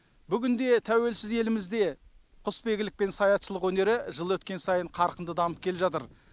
бүгінде тәуелсіз елімізде құсбегілік пен саятшылық өнері жыл өткен сайын қарқынды дамып келе жатыр